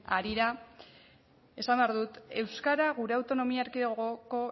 harira esan behar dut euskara gure autonomi erkidegoko